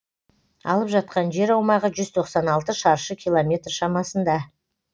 алып жатқан жер аумағы жүз тоқсан алты шаршы километр шамасында